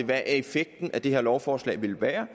hvad effekten af det her lovforslag vil være